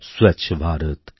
Swachh Bharat